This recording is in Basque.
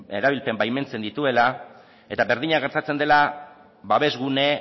erabilpen baimentzen dituela eta berdina gertatzen dela babesgune